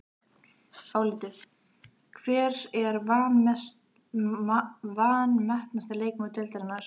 Álitið: Hver er vanmetnasti leikmaður deildarinnar?